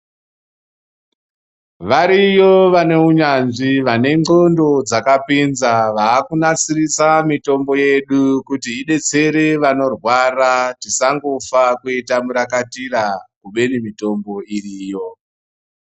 Variyo vane unyanzvi vane ndxondo dzakapinza vakunasirisa mutombo yedu kuti idetsere vanorwara tisangofa kuita murakatira kubeni mitombo iriyo.